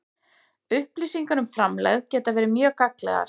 Upplýsingar um framlegð geta verið mjög gagnlegar.